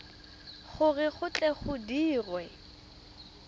gore go tle go dirwe